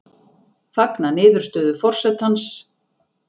Fagna niðurstöðu forsetans